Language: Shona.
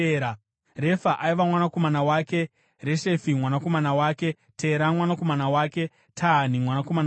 Refa aiva mwanakomana wake, Reshefi mwanakomana wake, Tera mwanakomana wake, Tahani mwanakomana wake,